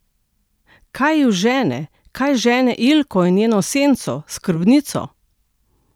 Kaj ju žene, kaj žene Ilko in njeno senco, skrbnico?